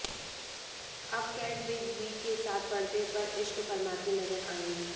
अब Kat Big B के साथ पर्दे पर इश्क फरमाती नजर आएंगी